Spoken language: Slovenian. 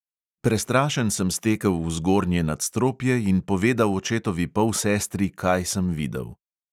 Prestrašen sem stekel v zgornje nadstropje in povedal očetovi polsestri, kaj sem videl.